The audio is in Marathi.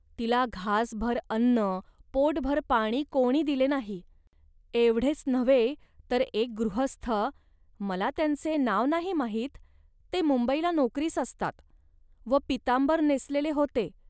तिला घासभर अन्न, पोटभर पाणी कोणी दिले नाही. एवढेच नव्हे, तर एक गृहस्थ मला त्यांचे नाव नाही माहीतते मुंबईला नोकरीस असतात व पीतांबर नेसलेले होते